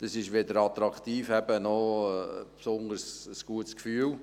Es ist weder attraktiv noch hat man dabei ein besonders gutes Gefühl.